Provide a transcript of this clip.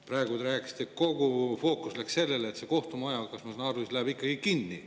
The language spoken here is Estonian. Praegu te rääkisite, kogu fookus läks sellele, et see kohtumaja, kui ma õigesti aru saan, läheb ikkagi kinni.